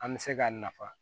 An bɛ se k'a nafa